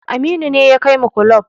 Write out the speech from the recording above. Aminu ne ya kai mu kulob